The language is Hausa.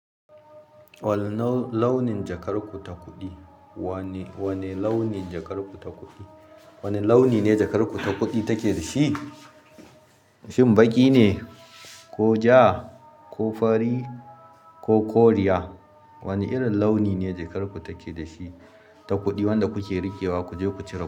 Wane launin jakar ku ta kuɗi? Wane launin jakar ku ta kuɗi? Wane launi ne jakar ku ta kuɗi take da shi? Shim baƙi ne, ko ja, ko fari, ko koriya. Wane irin launine jakar ku take da shi? Ta kuɗi wanda kuke rikewa ku je ku cire.